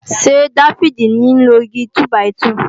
Ṣé Dáfídì ní ń lo Igi túbàìtuù